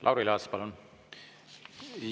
Lauri Laats, palun!